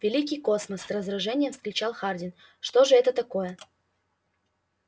великий космос с раздражением вскричал хардин что же это такое